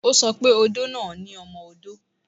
O sọ pé odó náà ni ọmọ-odó